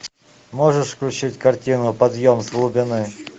можешь включить картину подъем с глубины